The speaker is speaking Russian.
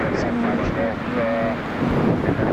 самая большая подводная лодка в мире